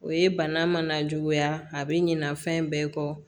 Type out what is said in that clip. O ye bana mana juguya a bɛ ɲinɛna fɛn bɛɛ kɔ